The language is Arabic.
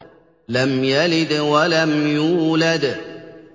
لَمْ يَلِدْ وَلَمْ يُولَدْ